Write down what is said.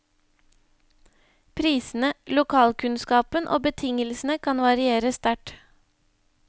Prisene, lokalkunnskapen og betingelsene kan variere sterkt.